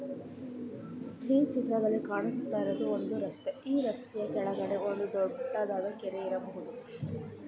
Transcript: ಈ ಚಿತ್ರದಲ್ಲಿ ಕಾಣಿಸ್ತಾ ಇರೋದು ಒಂದು ರಸ್ತೆ ಈ ರಸ್ತೆ ಕೆಳಗಡೆ ಒಂದು ದೊಡ್ಡಡಾದ ಕೆರೆ ಇರಬಹುದು.